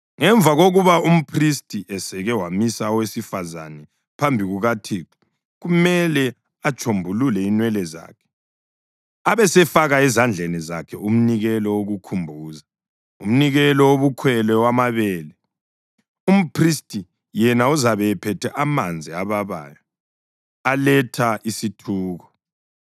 Ngemva kokuba umphristi eseke wamisa owesifazane phambi kukaThixo kumele atshombulule inwele zakhe abesefaka ezandleni zakhe umnikelo wokukhumbuza, umnikelo wobukhwele wamabele, umphristi yena uzabe ephethe amanzi ababayo aletha isithuko.